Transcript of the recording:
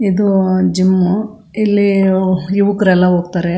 ಇದು ಜಿಮ್ ಇಲ್ಲಿ ಯುವಕ್ರೆಲ್ಲಾ ಹೋಗತ್ತರೆ.